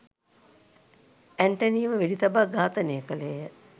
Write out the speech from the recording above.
ඇන්ටනීව වෙඩි තබා ඝාතනය කළේය.